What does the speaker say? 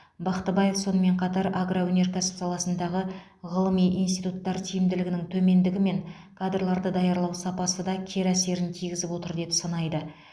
бақтыбаев сонымен қатар агроөнеркәсіп саласындағы ғылыми институттар тиімділігінің төмендігі мен кадрларды даярлау сапасы да кері әсерін тигізіп отыр деп санайды